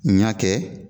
N y'a kɛ